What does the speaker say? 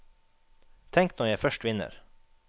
Tenk når jeg først vinner!